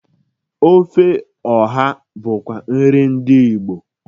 Ofe ọha bụkwa nri ndị Igbo.